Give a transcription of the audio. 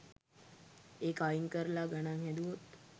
ඒක අයින් කරලා ගණන් හැදුවොත්